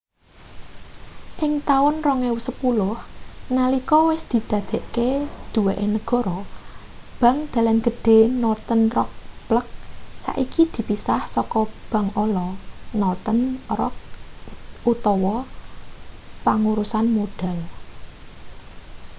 ing taun 2010 nalika wis didadekake duweke negara bank dalan gedhe northern rock plc saiki dipisah saka 'bank ala' northern rock pangurusan modal